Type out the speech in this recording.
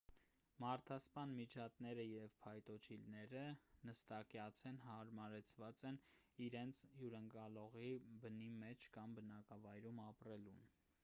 մարդասպան միջատները և փայտոջիլները նստակյաց են հարմարեցված են իրենց հյուրընկալողի բնի մեջ կամ բնակավայրում ապրելուն